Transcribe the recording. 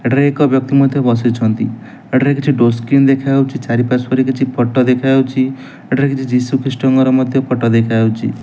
ଏଟାରେ ଏକ ବ୍ୟକ୍ତି ମଧ୍ୟ ବସି ଛନ୍ତି ଏଠାରେ କିଛି ଡୋର ସ୍କ୍ରିନ ଦେଖା ଯାଉଅଛି ଚାରି ପାର୍ଶ୍ୱ ରେ କିଛି ଫୋଟୋ ଦେଖା ଯାଉଛି ଏଠରେ ଯୀଶୁ ଖ୍ରୀଷ୍ଟ ମଧ୍ୟ ଫୋଟୋ ଦେଖା ଯାଉଛି।